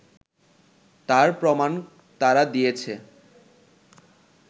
তার প্রমাণ তারা দিয়েছে